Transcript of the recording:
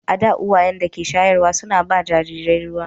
A da, uwayen da ke shayarwa suna ba jarirai ruwa.